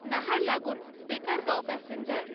Naharlagun Dekargaon passenger